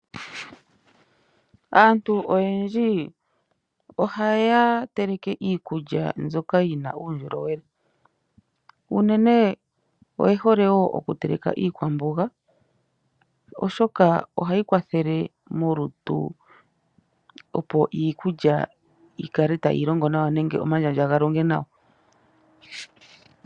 Aantu oyendji ohaya teleke iikulya nzoka yina uundjolowele, unene oye hole woo oku teleka iikwamboga oshoka ohayi kwathele molutu, opo iikulya yi kale tayi longo nawa nenge omandjandja ga longe nawa.